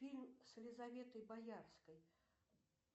фильм с елизаветой боярской